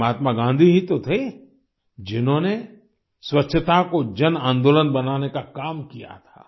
ये महात्मा गांधी ही तो थे जिन्होंने स्वच्छता को जनआन्दोलन बनाने का काम किया था